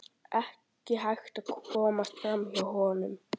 Þannig valt líf mitt áfram í tæpt ár.